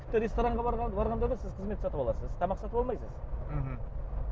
тіпті ресторанға барғанда да сіз қызмет сатып аласыз тамақ сатып алмайсыз мхм